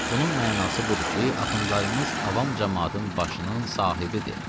Bunun mənası budur ki, axundlarımız avam camaatın başının sahibidir.